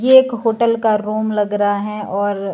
ये एक होटल का रूम लग रहा है और--